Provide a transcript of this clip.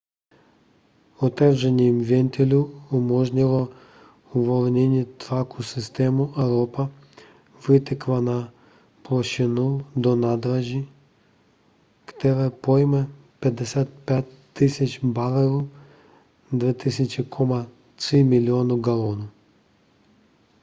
otevření ventilů umožnilo uvolnění tlaku systému a ropa vytekla na plošinu do nádrže která pojme 55 000 barelů 2,3 milionu galonů